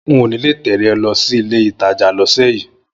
N ò ní lè tẹ̀lé ọ lọ sílé-ìtajà lọ́sẹ̀ yìí